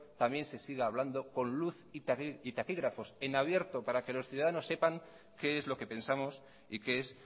también se siga hablando con luz y taquígrafos en abierto para que los ciudadanos sepan qué es lo que pensamos y qué es